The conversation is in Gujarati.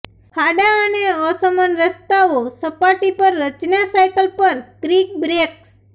ખાડા અને અસમાન રસ્તાઓ સપાટી પર રચના સાયકલ પર ક્રિક બ્રેક્સ